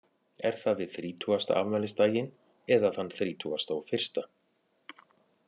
Er það við þrítugasta afmælisdaginn eða þann þrítugasta og fyrsta?